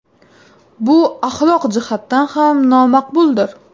Bu axloq jihatdan ham nomaqbuldir.